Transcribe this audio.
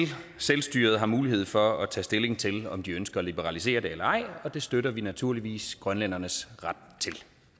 selvstyret har mulighed for at tage stilling til om de ønsker at liberalisere det eller ej og det støtter vi naturligvis grønlændernes ret